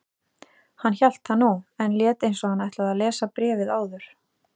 Hann hélt það nú, en lét eins og hann ætlaði að lesa bréfið áður.